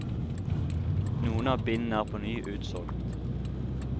Noen av bindene er på ny utsolgt.